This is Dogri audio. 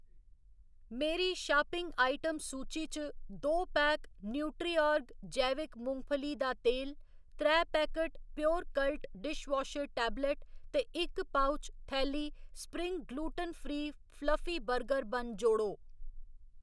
मेरी शापिंग आइटम सूची च दो पैक न्यूट्रिआर्ग जैविक मुंगफली दा तेल, त्रै पैकट प्योरकल्ट डिशवाशर टैबलेट ते इक पउच, थैली spring gluten free fluffy burger bun जोड़ो